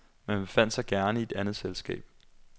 Man befandt sig gerne i et andet selskab.